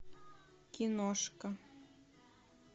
киношка